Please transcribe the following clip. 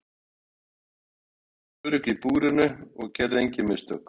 Hún virtist örugg í búrinu og gerði engin mistök.